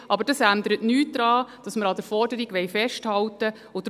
Aber das ändert nichts daran, dass wir an der Forderung festhalten wollen.